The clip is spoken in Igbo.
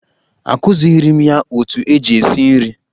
Akụzighiri m ya otu eji esi nri.